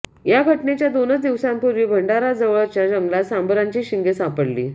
या घटनेच्या दोनच दिवसांपूर्वी भंडाराजवळच्या जंगलात सांबराची शिंगे सापडली